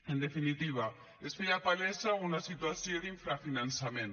en definitiva es feia palesa una situació d’infrafinançament